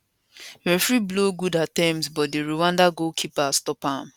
referee blow good attemptbut di rwanda goalkeeper stop am